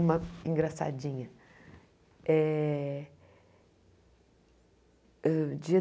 Uma engraçadinha. Eh